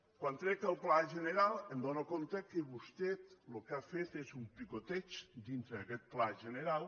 quan trec el pla general m’adono que vostè el que ha fet és un picoteig dintre d’aquest pla general